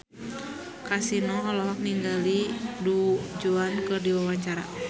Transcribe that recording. Kasino olohok ningali Du Juan keur diwawancara